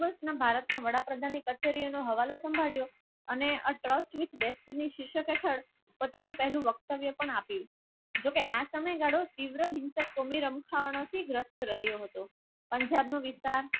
ભારતના વડાપ્રધાન કચેરીઓનો હવાલો સંભાળ્યો અને ટ્રસ્ટ પોત પોતાનું વક્તવ્ય પણ આપ્યું. જોકે આ સમય રહ્યો હતો પંજાબનો વિસ્તાર